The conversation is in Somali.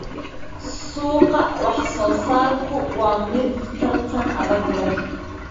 Suuqa wax-soo-saarku waa mid tartan adag leh.